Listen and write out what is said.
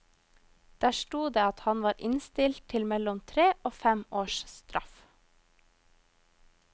Der sto det at han var innstilt til mellom tre og fem års straff.